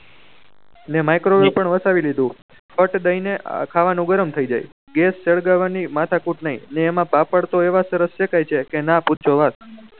એટલે મીક્રોવેવ પણ વસાવી દીધું ફટ દઈ ને ખાવાનું ગરમ થઇ જાય છે ગેસ સળગવાની માથા કૂટ નહી ને એમાં પાપડ તો એવા સરસ દેખાય છે કે ના પૂછો બાત